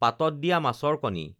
পাতত দিয়া মাছৰ কণী